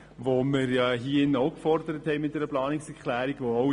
Solche haben wir ja mit einer Planungserklärung auch gefordert.